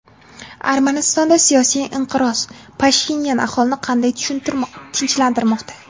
Armanistonda siyosiy inqiroz: Pashinyan aholini qanday tinchlantirmoqda?.